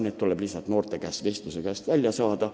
Need tuleb noorte käest lihtsalt vestluse käigus kätte saada.